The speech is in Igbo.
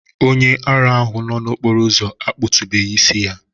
Onye ara ahụ nọ n'okporo ụzọ akpụ̀tubeghi isi ya